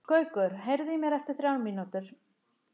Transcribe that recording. Gaukur, heyrðu í mér eftir þrjár mínútur.